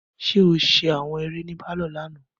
Ṣe o ṣe awọn eré ní parlor lànà?